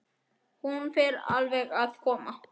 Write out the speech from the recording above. Hún fer alveg að koma.